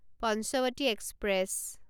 Panchavati express